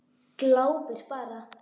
Glápir bara.